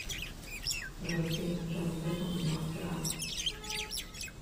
джой фильмы с джонни дэпом где он пират